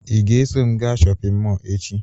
Ị ga-eso m gaa shọpịn mọọ echi